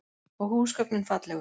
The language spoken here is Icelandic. Og húsgögnin fallegu.